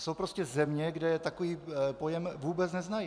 Jsou prostě země, kde takový pojem vůbec neznají.